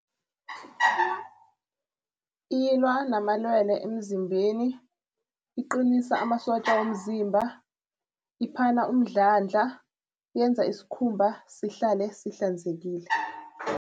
Ilwa namalwelwe emzimbeni, iqinisa amasotja womzimba, iphana umdlandla, yenza isikhumba sihlale sihlanzekile.